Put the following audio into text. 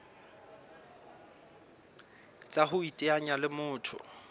tsa ho iteanya le motho